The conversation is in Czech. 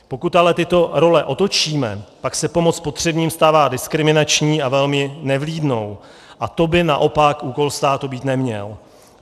Pokud ale tyto role otočíme, pak se pomoc potřebným stává diskriminační a velmi nevlídnou a to by naopak úkol státu být neměl.